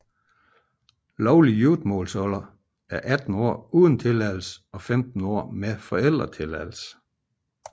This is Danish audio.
Lovlig giftemålsalder er 18 år uden tilladelse og 15 år med forældretilladelse